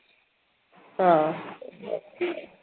ആ